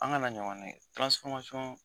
An kana ɲɔgɔn nɛgɛ